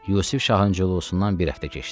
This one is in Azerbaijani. Yusif Şahın culusundan bir həftə keçdi.